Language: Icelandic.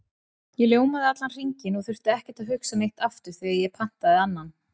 Ég ljómaði allan hringinn og þurfti ekkert að hugsa neitt aftur þegar ég pantaði annan.